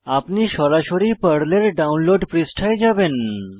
আপনি সরাসরি পর্লের ডাউনলোড পৃষ্ঠায় যাবেন